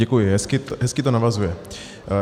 Děkuji, hezky to navazuje.